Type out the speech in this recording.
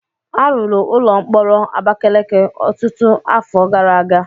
A rụrụ ụlọ mkpọrọ Abakeleke ọtụtụ afọ gara aga.